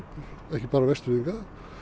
ekki bara Vestfirðinga